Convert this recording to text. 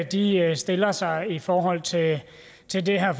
de stiller sig i forhold til til det her